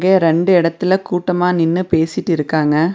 ரண்டு எடத்துல கூட்டமா நின்னு பேசிட்டு இருகாங்க.